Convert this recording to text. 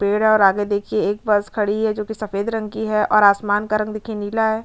पेड़ है और आगे देखिये एक बस खड़ी है जो कि सफ़ेद रंग की है और आसमान का रंग देखिये नीला है।